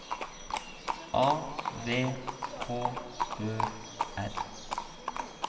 A V H Ø R